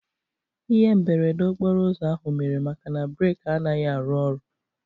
Ihe mberede okporouzo ahụ mere maka na breki anaghị arụ oru